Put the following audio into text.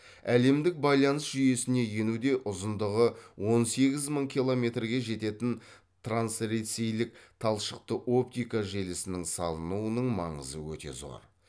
әлемдік байланыс жүйесіне енуде ұзындығы он сегіз мың километрге жететін трансресейлік талшықты оптика желісінің салынуының маңызы өте зор